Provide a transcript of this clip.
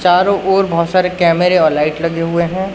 चारों ओर बहोत सारे कैमरे और लाइट लगे हुए है।